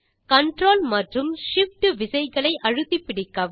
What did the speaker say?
control மற்றும் Shift விசைகளை அழுத்திப்பிடிக்கவும்